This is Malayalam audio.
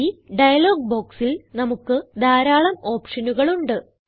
ഈ ഡയലോഗ് ബോക്സിൽ നമുക്ക് ധാരാളം ഓപ്ഷനുകൾ ഉണ്ട്